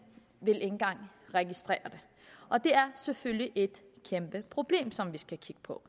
vil ikke engang registrere det og det er selvfølgelig et kæmpe problem som vi skal kigge på